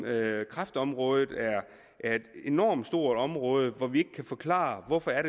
at kræftområdet er et enormt stort område hvor vi ikke kan forklare hvorfor der